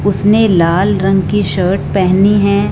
उसने लाल रंग की शर्ट पहनी है।